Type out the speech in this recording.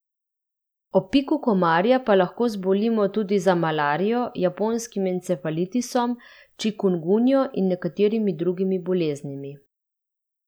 Ob piku komarja pa lahko zbolimo tudi za malarijo, japonskim encefalitisom, čikungunjo in nekaterimi drugimi boleznimi.